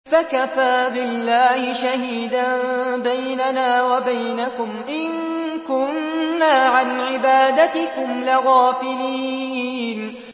فَكَفَىٰ بِاللَّهِ شَهِيدًا بَيْنَنَا وَبَيْنَكُمْ إِن كُنَّا عَنْ عِبَادَتِكُمْ لَغَافِلِينَ